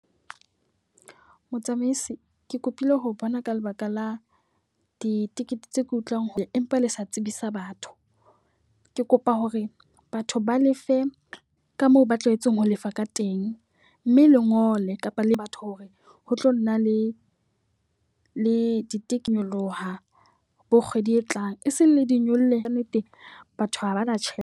Motsamaisi, ke kopile ho o bona ka lebaka la ditekete tse ke utlwang empa le sa tsebisa batho. Ke kopa hore batho ba lefe ka moo ba tlwaetseng ho lefa ka teng. Mme le ngole kapa le batho hore ho tlo nna le le di take nyoloha bo kgwedi e tlang. E seng le di nyolle ka nnete batho ha ba na tjhe.